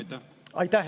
Aitäh!